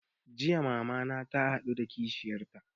Jiya mama na ta haɗu da kishiyar ta